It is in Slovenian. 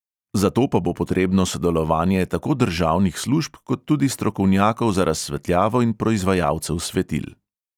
Za to pa bo potrebno sodelovanje tako državnih služb kot tudi strokovnjakov za razsvetljavo in proizvajalcev svetil.